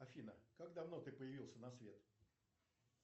афина как давно ты появился на свет